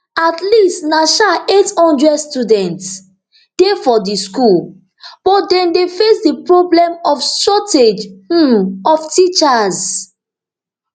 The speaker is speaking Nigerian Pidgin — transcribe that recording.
at least na um eight hundred students dey for di school but dem dey face di problem of shortage um of teachers